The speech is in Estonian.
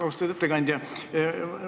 Austatud ettekandja!